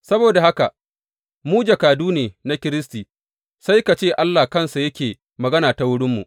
Saboda haka, mu jakadu ne na Kiristi, sai ka ce Allah kansa yake magana ta wurinmu.